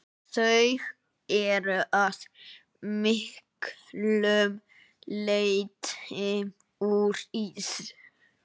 Þau eru að miklu leyti úr ís.